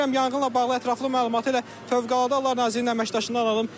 Mən istəyirəm yanğınla bağlı ətraflı məlumatı elə Fövqəladə Hallar Nazirliyinin əməkdaşından alım.